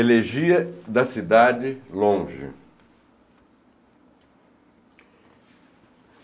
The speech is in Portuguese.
Elegia da cidade longe.